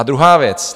A druhá věc.